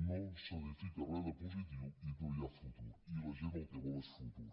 no s’edifica res de positiu i no hi ha futur i la gent el que vol és futur